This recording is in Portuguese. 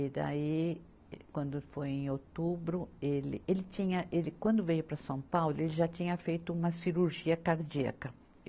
E daí, quando foi em outubro, ele, ele tinha, ele quando veio para São Paulo, ele já tinha feito uma cirurgia cardíaca.